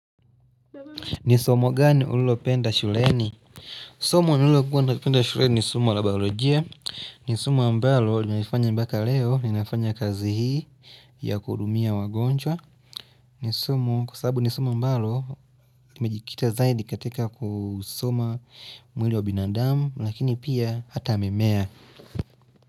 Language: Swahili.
Ni somo gani ulilopenda shuleni? Somo lililokuwa napenda shuleni ni somo la biolojia ni somo ambalo linanifanya mpaka leo Ninafanya kazi hii ya kuhudumia wagonjwa ni somo kwa sababu ni somo ambalo limejikita zaidi katika kusoma mwili wa binadamu Lakini pia hata mimea.